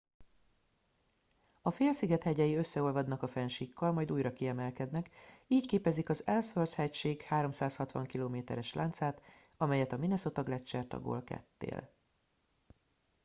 a félsziget hegyei összeolvadnak a fennsíkkal majd újra kiemelkednek így képezik az ellsworth hegység 360 km es láncát amelyet a minnesota gleccser tagol ketté